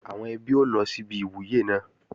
Àwọn ẹbí ó lọ síbi ìwúyè náà